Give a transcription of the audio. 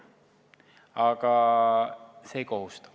Aga see ei kohusta.